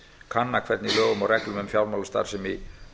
kanna hvernig lögum og reglum um fjármálastarfsemi